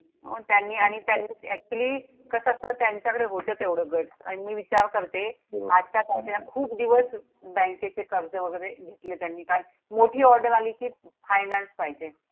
त्यांनी आणि त्यान actually कसं असतं! त्यांच्याकडे होते तेवढं guts अन् मी विचार करते, हो आजच्या तारखेला खूप दिवस बँकेचे कर्ज वगैरे घेतले त्यांनी काय, मोठी order आली कि, finance पाहिजे.